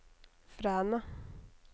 Fræna